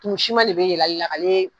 tumu Siman de be yɛlɛ a le la k'a lale